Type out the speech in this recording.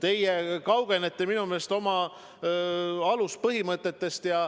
Minu meelest te kaugenete oma aluspõhimõtetest.